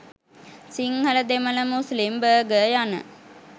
Sinhala Demala Muslim Burgher යන